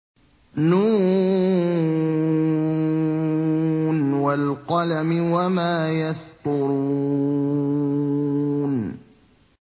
ن ۚ وَالْقَلَمِ وَمَا يَسْطُرُونَ